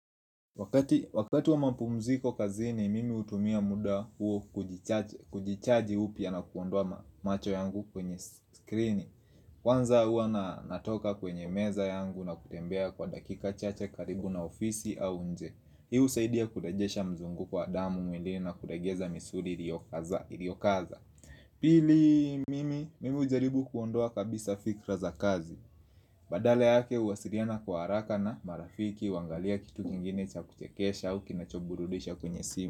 Wakati wa mapumziko kazini mimi hutumia muda huo kujichaji upya na kuondoa macho yangu kwenye skrini Kwanza hua natoka kwenye meza yangu na kutembea kwa dakika chache karibu na ofisi au nje. Hii husaidia kurejesha mzunguko wa damu mwilini na kulegeza misuri iliokaza Pili mimi ujaribu kuondoa kabisa fikra za kazi Badala yake uwasiriana kwa haraka na marafiki huangalia kitu kingine cha kuchekesha au kinachoburudisha kwenye simu.